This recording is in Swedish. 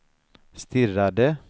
stirrade